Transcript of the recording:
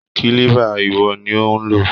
Kílíbà lwo ni ò ń lò?